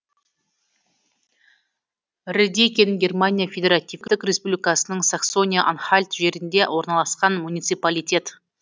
редекин германия федеративтік республикасының саксония анхальт жерінде орналасқан муниципалитет